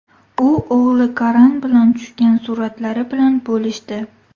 U o‘g‘li Karan bilan tushgan suratlari bilan bo‘lishdi.